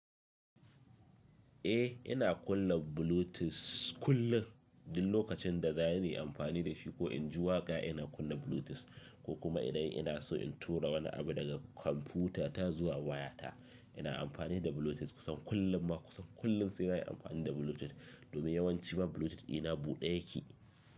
Eh ina kunna Bluetooth kullum, duk lokacin da zan yi amfani da shi ko in ji waƙa ina kunna Bluetooth ko kuma idan ina so in tura wani abu daga kwamfutata zuwa wayata ina amfani da Bluetooth. Kusan kullum ma kusan kullum sai na yi amfani da Bluetooth domin yawanci ma Bluetooth ɗina buɗe yake.